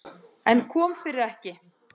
En kom fyrir ekki.